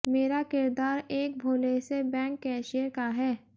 मेरा किरदार एक भोले से बैंक कैशियर का है